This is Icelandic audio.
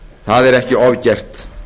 það er ekki ofgert